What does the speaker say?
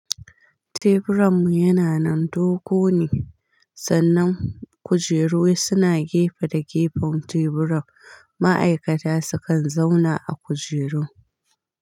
Teburan mu yana nan dogo ne, sannan kujeru suna gefe da gefen teburan. Ma'aikata su kan zauna a kujeru.